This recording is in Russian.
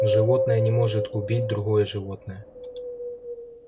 животное не может убить другое животное